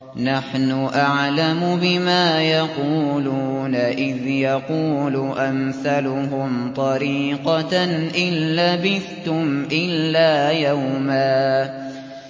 نَّحْنُ أَعْلَمُ بِمَا يَقُولُونَ إِذْ يَقُولُ أَمْثَلُهُمْ طَرِيقَةً إِن لَّبِثْتُمْ إِلَّا يَوْمًا